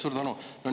Suur tänu!